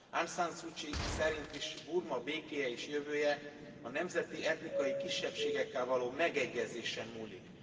Anszanszucsi szerint is Burma békéje és jövője a nemzeti etnikai kisebbségekkel való megegyezésen múlik.